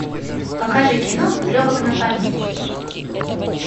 покажи кино легок на помине